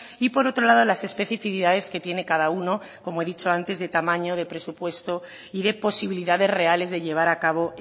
y por otro lado las especificidades que tiene cada uno como he dicho antes de tamaño de presupuesto y de posibilidades reales de llevar a cabo